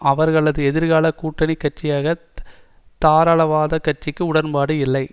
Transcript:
அவர்களது எதிர்கால கூட்டணி கட்சியான தாராளவாத கட்சிக்கு உடன்பாடு இல்லை